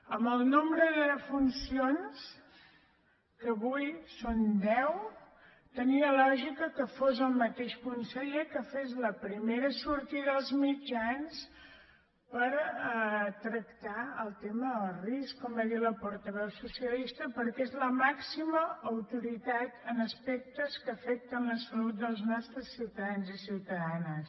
amb el nom·bre de defuncions que avui són deu tenia lògica que fos el mateix conseller qui fes la primera sortida als mitjans per tractar el tema del risc com ha dit la por·taveu socialista perquè és la màxima autoritat en as·pectes que afecten la salut dels nostres ciutadans i ciutadanes